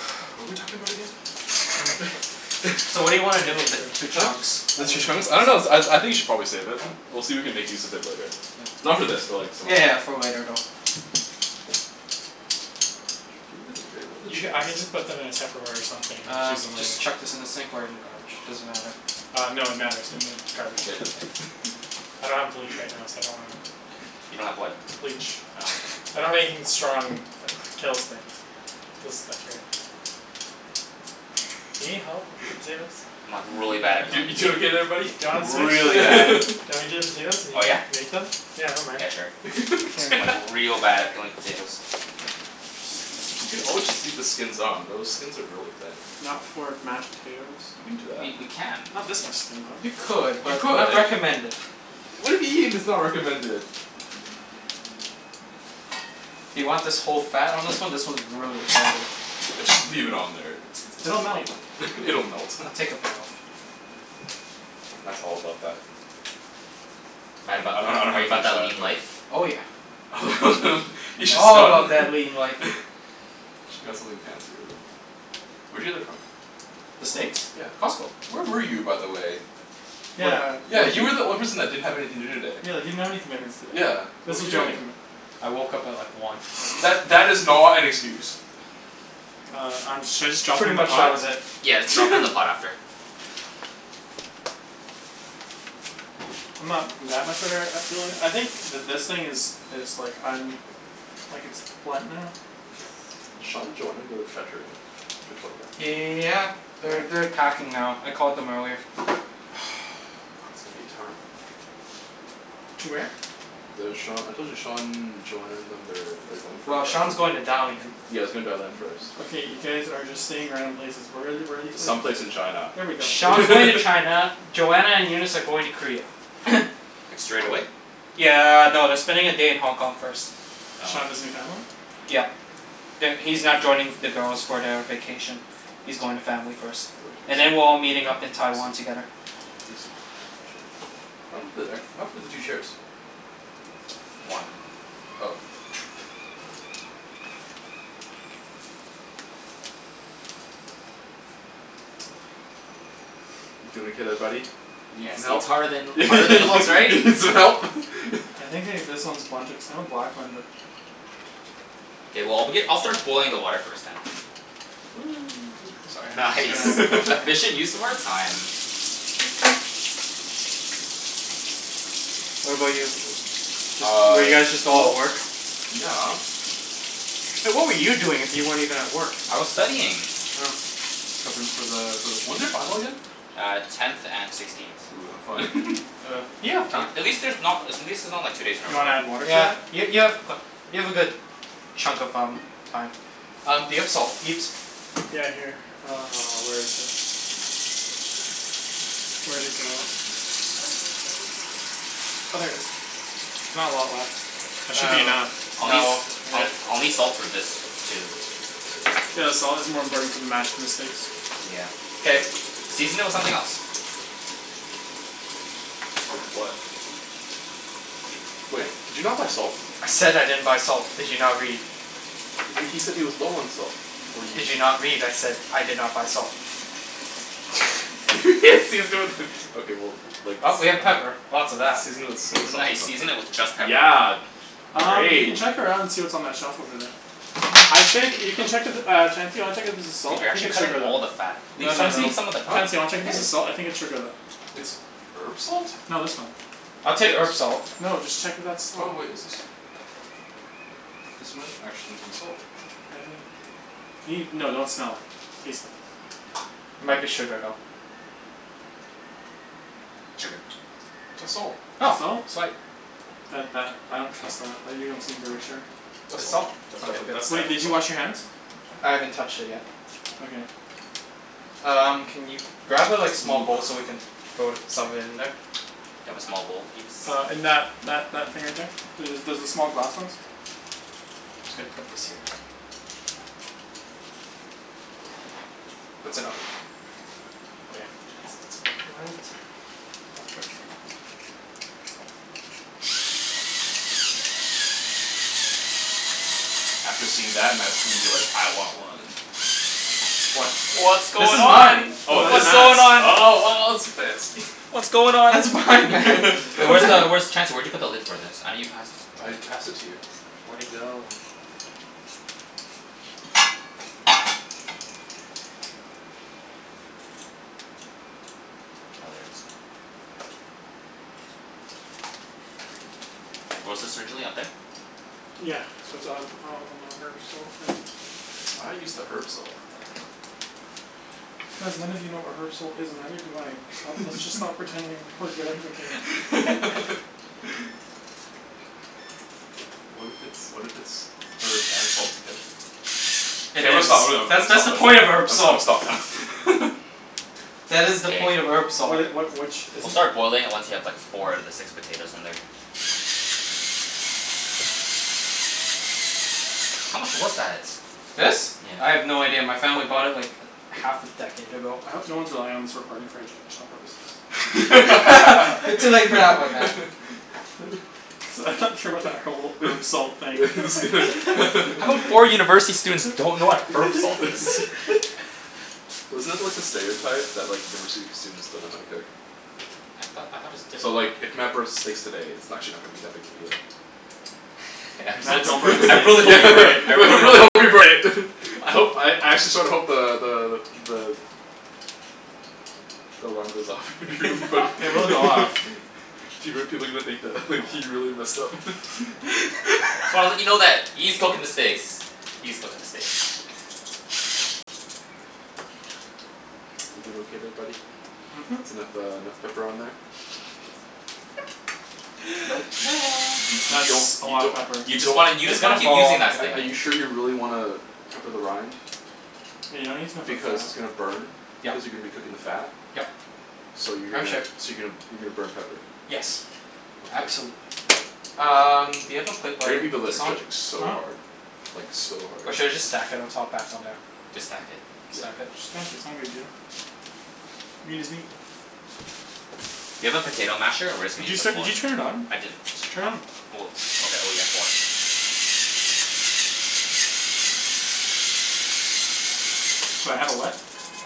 What were we talking about again? So what do Gimme you wanna the do with the baker. two chunks? I just Two need to chunks? put I this don't know out of I your I think you way should probably save it. We'll see if we can make use of it later. Yeah. Not for this, but like some other Yeah day. yeah for later though. where are the You ca- chairs? I can just put them in a tupperware or something and Uh use them later. just chuck this in the sink or in the garbage, doesn't matter. Uh no, it matters. In the garbage. Yeah it does. I don't have bleach right now, so I don't wanna. You don't have what? Bleach Oh. I don't have anything strong that kills things. Kills bacteria. Do you need help with the potatoes? I'm like really bad at You peeling you doing potatoes. okay there buddy? Do you Like wanna switch? really bad. Do you want me to do the potatoes and you Oh can yeah? make them? Yeah I don't mind. Yeah sure. I'm like real bad at peeling potatoes. We could always just leave the skins on. Those skins are really thin. Not for mashed potatoes. You can do that. We we can. Not this much skin though. You could, You but could. not recommended. Why do you mean it's not recommended? Do you want this whole fat on this one? This one's really fatty. Just leave it on there. It's it's It'll melt flavor. It'll melt. I'll take a bit off. Matt's all about that Matt about I don't know that are how to you about finish that that, lean but life? Oh yeah. You should All about spun that lean life. Should got something fancier than Where'd you get that from? The steaks? Yeah. Costco. Where were you, by the way? Yeah Yeah, you were the only person that didn't have anything to do today. Yeah, you didn't have any commitments today. Yeah. What This were was you your only doing? commitment. I woke up at like one. That that is not an excuse. Uh I'm should I just drop them Pretty in the much that pot? was it. Yeah, let's drop it in the pot after. I'm not that much of I think th- this thing is is like um like it's blunt now. Sean and Joanna go to Trattoria? Victoria? Yeah. They're they're packing now. I called them earlier. To where? The Sean, I told you, Sean, Joanna and them they're they're going for. Well Sean's going to Dalian. Yea he's going to Dalian first. Okay, you guys are just saying random places. Where are the- where are these places? Some place in China There we go Sean's going to China, Joanna and Eunice are going to Korea. Like straight away? Yeah no, they're spending a day in Hong Kong first. Sean Oh. visiting family? Yeah. That He's not joining the girls for the vacation. He's going to family first. And then we're all meeting up in Taiwan together. Juicy. What happened to the two chairs? One. Oh. You peelin' okay there buddy? You need Yeah some see it's help? harder than harder than it looks, You right? need some help? I think they this one is blunted cuz that one. K well I'll begin I'll start boiling the water first then. Sorry. Just Nice. gonna wash my hands. Efficient use of our time. What about you? Just Uh. were you guys just all at Well. work? Yeah. Hey what were you doing if you weren't even at work? I was studying. Oh. Preppin' for the for the when's your final again? Uh tenth and sixteenth. Ooh, have fun. Uh. You have time. At least there's not at least it's not like two days in a You row. wanna add water to Yeah that? y- Yeah. you have you have a good chunk of um Time. Um do you have salt Ibs? Yeah here. Uh, where is it? Where'd it go? Oh there it is. There's not a lot left. That should be enough. Uh no Um I'll need salt for this too. Yeah the salt is more important for the mash than the steaks. Yeah, true. K. Season it with something else. With what? Wait, did you not buy salt? I said I didn't buy salt, did you not read? H- he said he was low on salt, before you Did s- you not read? I said I did not buy salt. Season it with okay well like s- Well, I we mean have pepper. Lots of that. Season it with soy sauce or Nice something. season it with just pepper. Yeah. Um you can Great. check around see what's on that shelf over there. I think you can check if uh Chancey wanna check if there's salt? Dude I you're think actually it's cutting sugar though. all the fat. Leave No some no no, Chancey? leave some of the Huh? fat. Chancey, wanna I check if this did. is salt? I think it's sugar though. It's herb salt? No this one. I'll take This? herb salt. No, just check if that's Oh salt. wait, is this? This might actually be salt. I think. Can you? No, don't smell it. Taste it. Might be sugar though. It's sugar. That's salt. It's Oh, salt? sweet. That that I don't trust that. That you don't seem very sure. That's It's salt. salt? That's Okay definitely good that's Wait, definitely did you salt. wash your hands? I haven't touched it yet. Okay. Um can you grab a like small bowl so we can throw some of it in there? Do you have a small bowl, Ibs? Uh in that that that thing right there. There's the small glass ones. Just gotta put this here. That's enough. Oh yeah. It's it's plenty. Where's the lid? After seeing that Matt's gonna be like "I want one!" What? What's This going is on? mine. Yo Oh it that's is? What's nuts. going on? Oh wow it's fancy. What's going on? That's It's mine. mine man. Hey What where's the the hell? where's t- Chancey where'd you put the lid for this? I know you passed I passed it to you. Where'd it go? Oh, there it is. Where was this originally? Up there? Yeah. it's up on on the herb salt thing. Why not use the herb salt? Cuz none of you know what herb salt is and neither do I. Sto- let's just stop pretending that we're good at cooking. What if it's what if it's herb and salt together? K Hey there I'm it gonna is. stop I'm gonna That's that's stop the point of herb I'm gonna salt. stop now That is the point of Hey. herb salt. What it what which is We'll it? start boiling it once you have like four out of the six potatoes in there. How much was that? This? I Yeah. have no idea. My family bought it like a half a decade ago. I hope no one's relying on this recording for educational purposes. You're too late for that one man. Cuz I'm not sure about that whole herb salt thing. Just gonna How come four university students don't know what herb salt is? Wasn't that like the stereotype? That like university students don't know how to cook? I thought I thought it was So different like if Matt burns the steaks today it's n- actually not gonna be that big a deal. I'm so Man, don't bring the t- I I States really hope you into this. burn it. I really hope hope you you burn burn it. it. I hope I actually sorta hope the the the the The alarm goes off. It would be funny It will go off. People people are gonna think that he Oh really messed up So I wanna let you know that E's cooking the steaks. E's cooking the steaks. You doin' okay there buddy? Mhm. Mhm. It's enough uh enough pepper on there? Nope. Y- you you That's don't a you lotta don't pepper. You you just wanna you It's just wanna gonna keep fall off using don't in that the sting. are cooking. you sure you really wanna pepper the rind? Yeah, you don't need to pepper the Because fat. it's gonna burn. Yeah. Cuz you're gonna be cooking the fat. Yep. So you're I'm gonna sure. so you're gonna you're gonna burn pepper. Yes, Okay. absolutely. Um do you have a plate I where I hear can people put that are this on? judging so Huh? hard. Like so hard. Or should I just stack it on top back on there? Just stack it. Yeah. Stack it? Just stack it, it's not a big deal. I mean doesn't he Do you have a potato masher or we're just Did gonna you use a set did fork? you turn it on? I didn't. Turn Not it. oh okay oh yeah four. Do I have a what?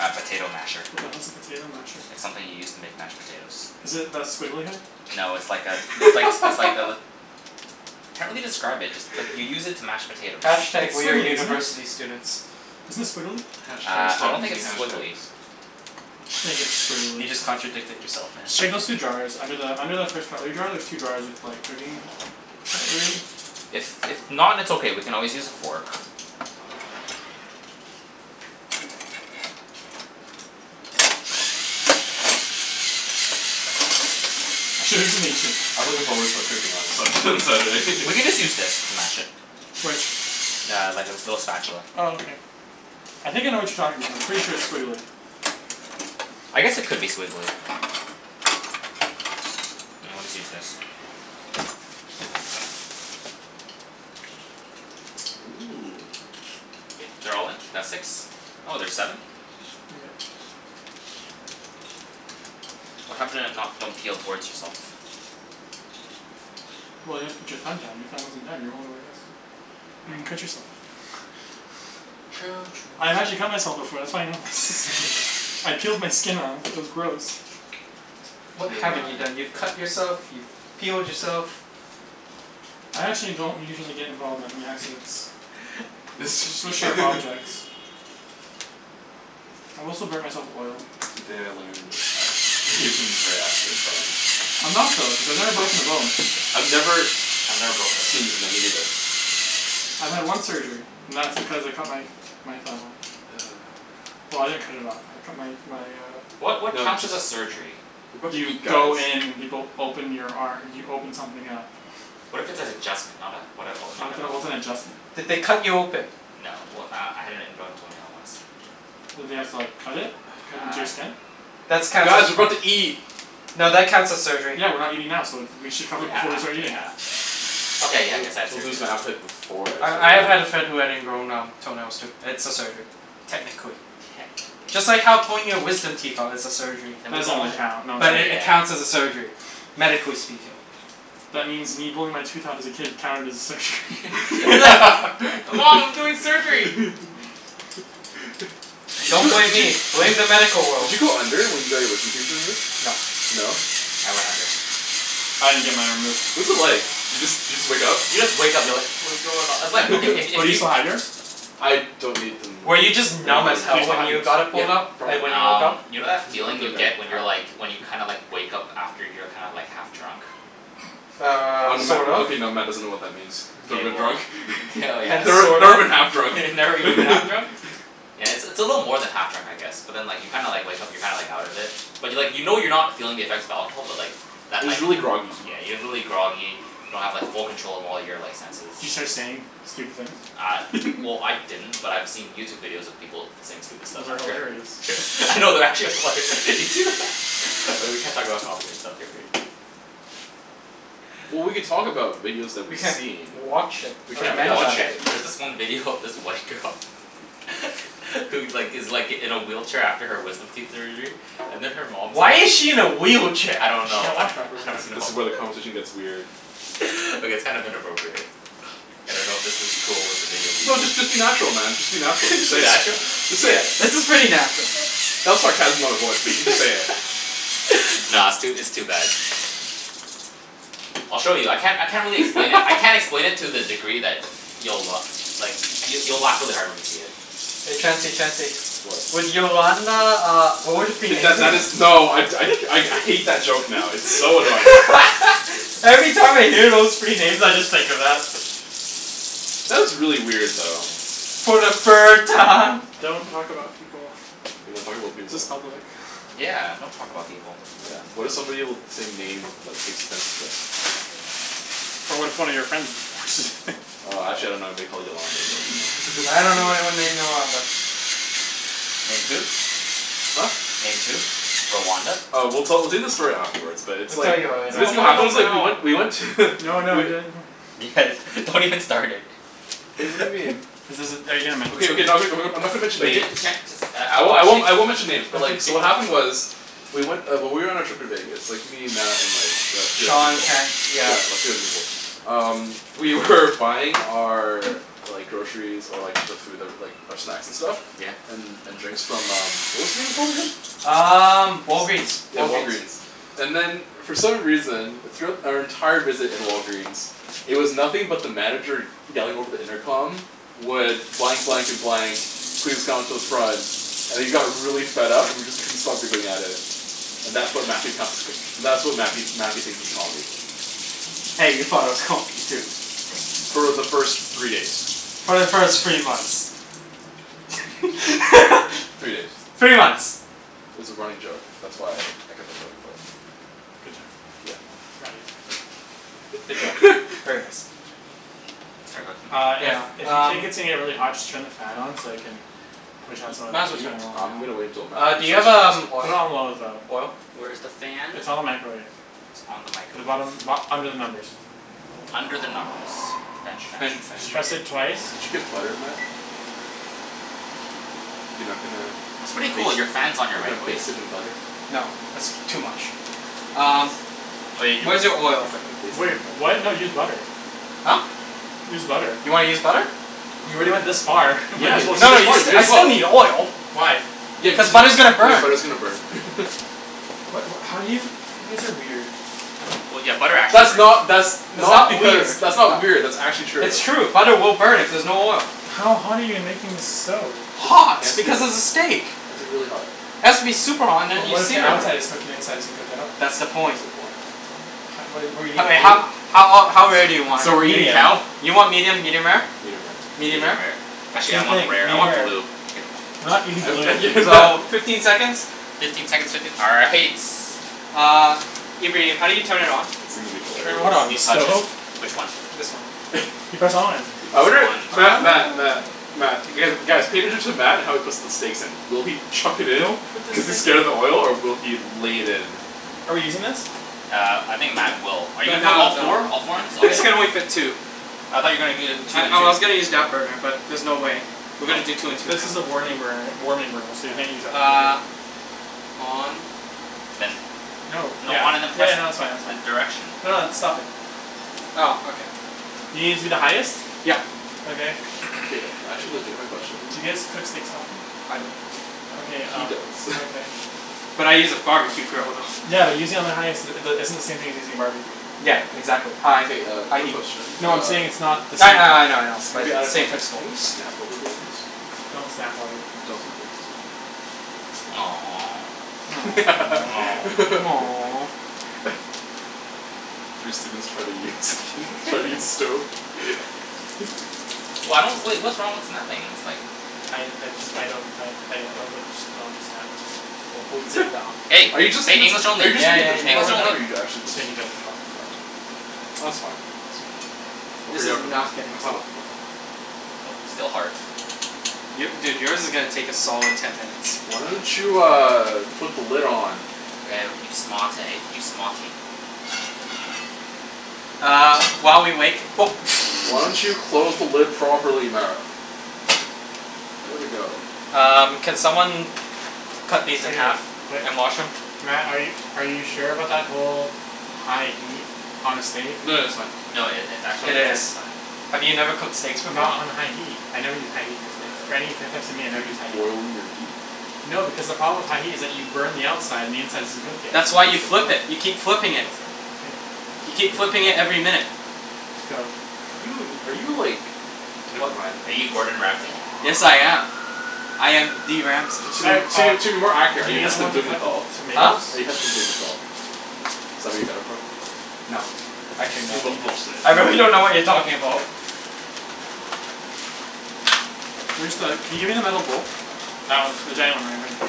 A potato masher. What the hell's a potato masher? It's something you use to make mashed potatoes. Is it that squiggly thing? No it's like a it's likes it's like a Can't really describe it, just like you use it to mash potatoes. Hash tag It's we're squiggly, isn't it? university students. Isn't it squiggly? Hash tag Uh I stop don't think using it's hash squiggly. tags. I just think it's squiggly You just contradicted yourself man. Just check those two drawers. Under the under the first cutlery drier there's two drawers with like cooking cutlery. If if not it's okay, we can always use a fork. I'm sure it doesn't mix it. I'm looking forward to cooking on Sun- on Saturday. We can just use this to mash it. Which? Yeah, like this little spatula. Oh okay. I think I know what you're talking about, I'm pretty sure it's squiggly. I guess it could be squiggly. I always use this. Ooh. K, they're all in? That's six? Oh, there's seven? Yeah. What happened to not don't peel towards yourself? Well you have to put your thumb down. Your thumb wasn't down. You were holding it like this. You're gonna Oh cut yourself. True I've true actually cut myself true before. That's why I know this. Actually? I peeled my skin off. It was gross. You What T haven't m you i done? You've cut yourself, you've peeled yourself. I actually don't usually get involved with that many accidents. With sharp objects. I've also burnt myself with oil. Today I learned that Ibrahim is very accident prone. I'm not though, cuz I've never broken a bone. I've never I've never broken a bone Seen, either. no me neither. I've had one surgery, and that's because I cut my my thumb off. Well I didn't cut it off, I cut my my uh What what counts as a surgery? What are You you guys go in and people open your ar- you open something up. What if it's an adjustment? Not uh what a not What the an hell, what's open? an adjustment? Did they cut you open? No, well uh I had an ingrown toenail once. Did they have to like cut it? Cut into your Uh skin? That's counts Guys, as we're about to eat. no that counts as surgery. Yeah, we're not eating now, so th- we should cover Yeah, it before we start eating. yeah. I'll Okay, yeah I guess I had I'll surgery lose my then. appetite before I I start I have had a eating. friend who had ingrown um toenails too. It's a surgery. Techincally. Technically. Just like how pulling your wisdom teeth out is a surgery. Then That we've doesn't all really had count, But it yeah. counts as a surgery, medically speaking. That means me pulling my tooth out as a kid counted as a surgery. Hey mom we're doing surgery! Did Don't you blame did you me, blame did you the medical did world. you go under when you got your wisdom teeth removed? No. No? I went under. I didn't get mine removed. What was it like? Do you just do you just wake up? You just wake up you're like "What's going on?" It's like okay if Oh if do you you still have yours? I don't need them Were you removed. just They're not numb as bugging Do you hell still me. when have yours? you got it Yeah, pulled out? And probably. when you woke Um up? you know that feeling you get when you're like when you kinda like wake up after you're kinda like half drunk? Um, Um Matt sort of. okay now Matt doesn't know what that means. K, Never been well, drunk. k oh Never yes. sort never of. been half drunk. Never even half drunk? Yeah, it's a little more than half drunk I guess. But then like you kinda like wake up and you're kinda like out of it. But like you know you're not feeling the effects of alcohol but like But Just like y- really groggy. yeah, you're really groggy, you don't have like full control of all your like senses. Do you start saying stupid things? Uh well I didn't, but I've seen YouTube videos of people saying stupid stuff Those are after. hilarious. No, they're actually hilar- You see Oh, we can't talk about copyright stuff here, right? Well we could talk about videos that We we've can't seen. watch it We or Okay can't mention watch okay, it. there's this one video of this white girl Who like gives like in a wheelchair after her wisdom teeth surgery. And then her mom Why is she in a wheelchair? I don't Cuz she know can't I walk properly. don't This know is where the conversation gets weird. Okay it's kind of inappropriate. I don't know if this is cool with the video people. No just just be natural man, just be natural. Just say it. natural? Just say Yeah. it. This is pretty natural. That was sarcasm in my voice. But you just say it. Nah, it's too it's too bad. I'll show you. I can't I can't really explain it. I can't explain it to the degree that you'll like you'll you'll laugh really hard when you see it. Hey Chancey Chancey. What? Would Yolanda uh would it be K that that is. No I I I hate that joke now. It's so annoying. Every time I hear those three names I just think of that. That was really weird though. Okay. For the third time. Don't talk about people. We don't talk about This is people. public. Yeah, don't talk about people. Yeah, what if somebody with the same name like takes offense of this? But what if one of your friends just Uh actually I don't know anybody called Yolanda but you I dunno know. anyone named Yolanda. Named who? Huh? Named who? Rwanda? Uh we'll tell we'll tell you the story afterwards, but it's We'll tell like. you So later. No, this I is what wanna happened know it's like we now. went we went to No, no, I do. Guys, don't even start it. Wait what do you mean? Is this are you going to mention Okay okay someone? I'm not gonna mention Wait names. can't just uh I won't I won't I won't mention names but Okay. like so what happened was. We went uh when we were on our trip to Vegas. Me, Matt, and like the three other Sean people. can't yeah. Yeah three other people. Um we were buying our Like groceries, or like the food that like um snacks and stuff Yeah. And and drinks from um what was the name again? Um Walgreens. Yeah Walgreens. Walgreen's. And then for some reason, throughout our entire visit at Walgreens It was nothing but the manager yelling over the intercom Would blank blank and blank Please come to the front And he got really fed up and we just couldn't stop giggling at it. And that's what Matthew counts as that's what Matthew Matthew thinks is comedy. Hey, you thought it was comedy, too. For the first three days. For the first three months. Three days. Three months. It's a running joke. That's why I kept on going for it. Good job. Yeah. Proud of you. Good job. Very nice. Uh Yeah, if if you um. think it's gonna get really hot just turn the fan on so you can Push out some of Might as the well heat. turn it on I'm gonna wait until now. Matt Uh do you have um Put it oil on low though. oil? Where's the fan? It's on the microwave. It's on In the the microwave. bottom bo- under the numbers. Under the numbers. Did French you did French. French. you did Just press it twice. you get butter, Matt? You're not gonna It's pretty baste cool, your not fan's gonna on baste your it in microwave. butter? No, that's too much. Um, where's He's your he's oil? not gonna baste Wait, it in what? butter. No use butter. Huh? Use butter. You wanna use butter? You already went this far, might Yeah, as you well can use No, you s- I still need just oil. Why? Yeah cuz Cuz you butter's gonna yeah burn. butter's gonna burn What what how do you? You guys are weird. That's not that's It's not not because weird. that's not weird that's actually true. It's true. Butter will burn if there's no oil. How hot are you making this stove? Just it Hot, has to be because it it's a steak. has to be really hot. It has to be super hot and But then you what if the sear it. outside is cooked and the inside isn't cooked at all? That's the That's point. the point. What do you mean? I mean Blue? how how ol- how rare do you want Medium. it? You want medium, medium rare? Medium rare Medium Medium rare? rare. Actually I Same thing, want medium rare rare. or blue. Kidding. We're not eating blue. So, fifteen seconds? Fifteen seconds will do all right. Uh, Ibrahim, how do you turn it on? It's gonna be Turn what hilarious. on, the stove? Which one? This one. You press on. I wonder Matt Matt Oh. Matt Matt guys cater to Matt how he puts the steaks in. Will he chuck it in? Don't put this Cuz he's thing scared of the oil or will he lay it in? Are we using this? Uh I think Matt will. Are you put No, all no. four? All four in it? This can Okay. only fit two. I thought you're gonna do I two and I two. was gonna use that burner, but there's no way. We're gonna do two and two now. This is a warning burner warming burner so you can't use that for cooking. Uh On Then. No. Yeah. No, Yeah no on and that's fine then that's fine. press the direction. No it's stop it. Oh, okay. You gonna use the highest? Yep. Okay. K, I actually have a legitimate question. D'you guys cook steaks often? I don't. Okay He uh does. okay. But I use a barbecue grill though. Yeah but using on the highest uh the isn't the same thing as using a barbecue. Yeah, Yeah man. exactly, high K uh high quick heat. question No I'm uh saying it's not the same. Yeah, yeah. I know I know. Maybe out of Same context. principle. Can we snap while we're doing this? Don't snap while you're doing Don't this. snap to be safe. Three students try to use try to use stove. Why don't wait what's wrong with snapping ? It's like I I just I don't I I don't know but just don't snap. Wo bu zhi dao Hey, Are you are just you it's just saying? are you Yeah just making a yeah yeah judgment call right yeah now or are you actually just Safety judgment call. Oh okay, Oh it's fine. We'll This figure is out for next not time. getting Next time hot. will be more fun. Still hard. Your dude yours is gonna take a solid ten minutes. Why don't you uh put the lid on? Woah you smart eh you smarty. Uh while we wait Why don't you close the lid properly Matt? There we go. Um, can someone cut Okay, these in half wait, and wash them? Matt are you are you sure about that whole high heat on a steak? No that's fine. No it it's It actually Okay. is. just fine. Have you never cooked steaks before? Not on a high heat. I never use high heat on steaks. For any types of meat I Do never you use just high heat. boil your meat? No because the problem with high heat is that you burn the outside and the inside isn't cooked yet. That's why you flip it. You keep flipping it. That's no- okay, You keep cook flipping it every your minute. Just go. Are you in are you like never mind. Are you Yes I Gordon am. Ramsay? I am the Ramsay. To Si- uh, to to be more accurate, are we you need Heston someone to cut the Blumenthal? Huh? tomatoes? Are you Heston Blumenthal? Is that where you got it from? No, actually no. Excuse me. Bull bull shit. I really don't know what you're talking about. Where's the can you give me the metal bowl? That one. The giant one right in front of you.